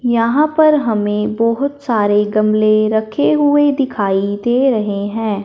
यहां पर हमें बहोत सारे गमले रखे हुए दिखाई दे रहे है।